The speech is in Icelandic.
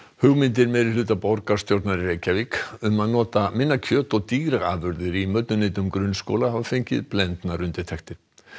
hugmyndir meirihluta borgarstjórnar í Reykjavík um að nota minna kjöt og dýraafurðir í mötuneytum grunnskóla hafa fengið blendnar undirtektir